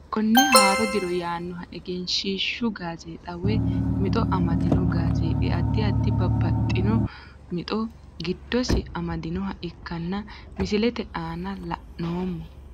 Konne haaro diro yaanoha egeenshshishu gaazexa woy mixo amandooni gazeexi adi adi babaxino mixxo gidosi amadinoha ikkana misilete aana la`noomo.